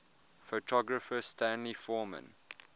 photographer stanley forman